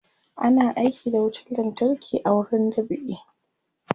ana aiki da wutan lantarki a wurin dab'i